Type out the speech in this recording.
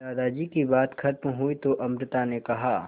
दादाजी की बात खत्म हुई तो अमृता ने कहा